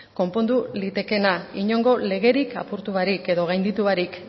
konpondu litekeena inongo legerik apurtu barik edo gainditu barik